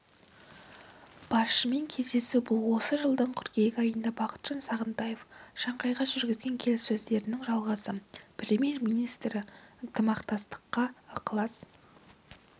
басшымен кездесу бұл осы жылдың қыркүйек айында бақытжан сағынтаев шанхайда жүргізген келіссөздердің жалғасы премьер-министрі ынтымақтастыққа ықылас